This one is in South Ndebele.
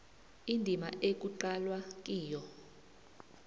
indima ekuqalwe kiyo